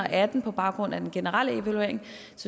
atten på baggrund af den generelle evaluering